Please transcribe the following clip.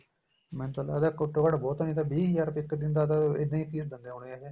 ਮੈਨੂੰ ਤਾਂ ਲਗਦਾ ਘੱਟੋ ਘੱਟ ਬਹੁਤਾ ਨੀਂ ਤਾਂ ਵੀਹ ਹਜਾਰ ਇੱਕ ਦਿਨ ਦਾ ਇੱਦਾਂ ਈ fees ਦਿੰਦੇ ਹੋਣੇ ਏ ਜੀ ਇਹ